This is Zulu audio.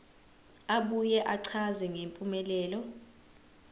abuye achaze ngempumelelo